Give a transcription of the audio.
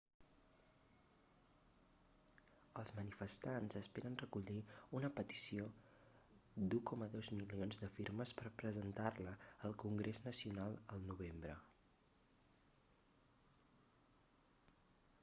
els manifestants esperen recollir una petició d'1,2 milions de firmes per presentar-la al congrés nacional el novembre